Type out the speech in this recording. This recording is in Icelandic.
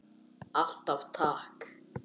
Alltaf takk.